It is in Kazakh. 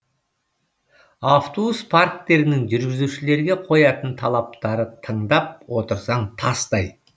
автобус парктерінің жүргізушілерге қоятын талаптары тыңдап отырсаң тастай